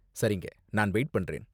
சரிங்க, நான் வெயிட் பண்றேன்.